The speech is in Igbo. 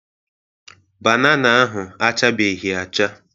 Banana ahụ achabeghị acha.